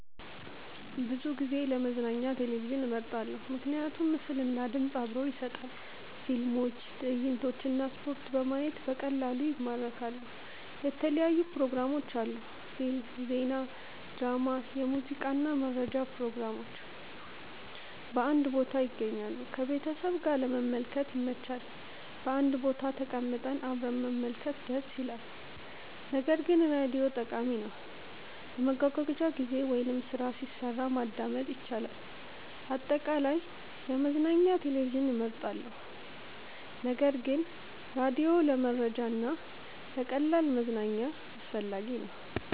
ብዙ ጊዜ ለመዝናኛ ቴሌቪዥንን እመርጣለሁ። ምክንያቶች ምስል እና ድምፅ አብሮ ይሰጣል – ፊልሞች፣ ትዕይንቶች እና ስፖርት በማየት በቀላሉ ይማርካሉ። የተለያዩ ፕሮግራሞች አሉ – ፊልም፣ ዜና፣ ድራማ፣ ሙዚቃ እና መረጃ ፕሮግራሞች በአንድ ቦታ ይገኛሉ። ከቤተሰብ ጋር ለመመልከት ይመች – በአንድ ቦታ ተቀምጠን አብረን መመልከት ደስ ይላል። ነገር ግን ራዲዮም ጠቃሚ ነው፤ በመጓጓዣ ጊዜ ወይም ስራ ሲሰራ ማዳመጥ ይቻላል። አጠቃላይ፣ ለመዝናኛ ቴሌቪዥን እመርጣለሁ ነገር ግን ራዲዮ ለመረጃ እና ለቀላል መዝናኛ አስፈላጊ ነው።